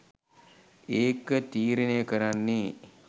ඒක තීරණය කරන්නේ